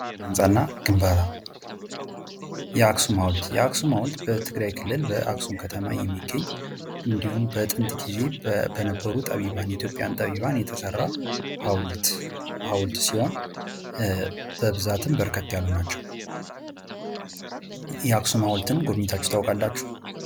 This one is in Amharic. ስነህንጻ እና ግንባታ፤ የአክሱም ሃውልት፤ የአክሱም ሃውልት በትግራይ ክልል በአክሱም ከተማ የሚገኝ እንዲሁም በጥንት ጊዜ በነበሩ ጠቢባን፤ ኢትዮጵያን ጠቢባን የተሰራ ሃውልት ሲሆን በብዛትም በርከት ያሉ ናቸው። የአክሱም ሃውልትን ጎብኝታችሁ ታቃላችሁ?